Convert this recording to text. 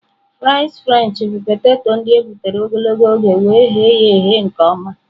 Fries Frenchị bụ poteto ndị e gbutere ogologo oge wee eghe ya eghe nke ọma..